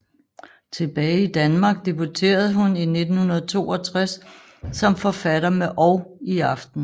Tilbage i Danmark debuterede hun i 1962 som forfatter med Og i aften